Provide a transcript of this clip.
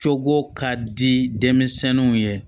Cogo ka di denmisɛnw ye